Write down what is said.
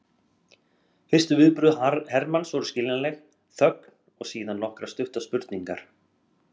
Fyrstu viðbrögð Hermanns voru skiljanleg, þögn og síðan nokkrar stuttar spurningar.